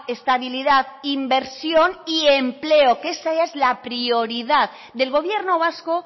estabilidad inversión y empleo que esa es la prioridad del gobierno vasco